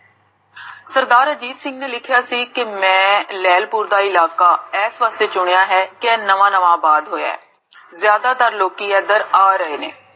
ਸਰਦਾਰ ਅਜੀਤ ਸਿੰਘ ਜੀ ਨੇ ਲਿਖਿਆ ਸੀ ਕਿ, ਮੈਂ ਲੇਹ੍ਲਪੁਰ ਦਾ ਇਲਾਕਾ ਇਸ ਵਾਸਤੇ ਚੁਣਿਆ ਹੈ, ਕੇ ਆਹ ਨਵਾ ਨਵਾ ਆਬਾਦ ਹੋਇਆ ਹੈ ਜਾਦਾ ਤਰ ਲੋਕੀ ਇਦਰ ਆ ਰਹੇ ਨੇ